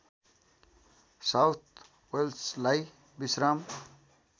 south वेल्सलाई विश्राम